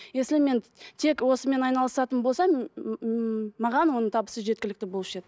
если мен тек осымен айналысатын болсам ммм маған оның табысы жеткілікті болушы еді